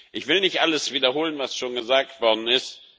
Ich will nicht alles wiederholen, was schon gesagt worden ist.